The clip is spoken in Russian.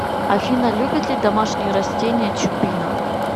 афина любит ли домашние растения чупина